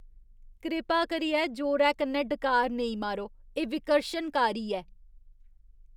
कृपा करियै जोरै कन्नै डकार नेईं मारो, एह् विकर्शनकारी ऐ।